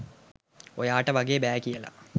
ඔයාට වගේ බෑ කියලා.